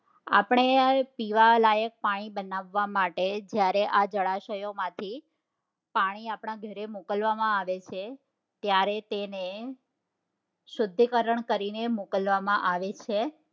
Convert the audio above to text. આપણે પીવાલાયક પાણી બનાવવા માટે જયારે આ જળાશયો માંથી પાણી આપડા ઘરે મોકલવામાં આવે છે ત્યારે તેને શુદ્ધિકરણ કરીને મોકલવામાં આવે છે